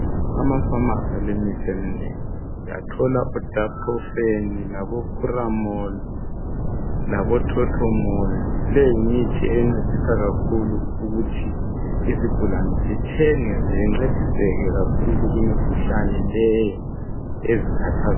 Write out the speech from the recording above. Amafamasi alemithi eminengi uyathola odaprofen, curomol labothothomoli leyi yimithi encedisa kakhulu ukuthi izigulani zithenge ziyencediseke kakhulu kumikhulani leyo ezikhathazayo.